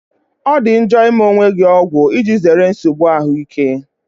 Ọ dị njọ ịme onwe gị ọgwụ, iji zere nsogbu ahụike.